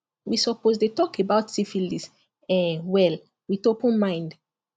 we suppose dey talk about syphilis um well with open mind